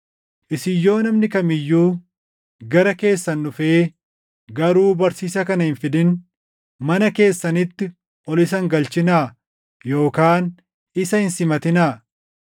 Isin yoo namni kam iyyuu gara keessan dhufee garuu barsiisa kana hin fidin, mana keessanitti ol isa hin galchinaa yookaan isa hin simatinaa.